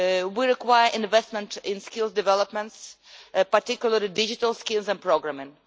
We require investment in skills development, particularly digital skills and programming.